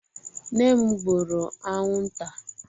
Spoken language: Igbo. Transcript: Nne m gbụrụ anwụnta.